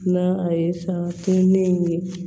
Na a ye san kinnen in ye